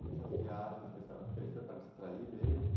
E essas viagens que a senhora fez, foi para distrair mesmo?